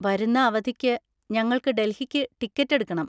വരുന്ന അവധിക്ക് ഞങ്ങൾക്ക് ഡൽഹിക്ക് ടിക്കറ്റ് എടുക്കണം.